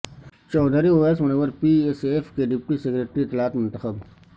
Chaudhry Awais Munawar P S F کےڈپٹی secretary اطلاعات منتخب